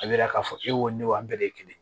A bɛ yira k'a fɔ e ko ne wa an bɛɛ ye kelen ye